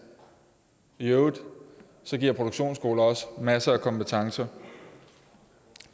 i øvrigt giver produktionsskolerne også masser af kompetencer